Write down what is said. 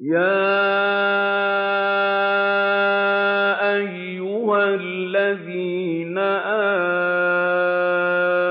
يَا أَيُّهَا الَّذِينَ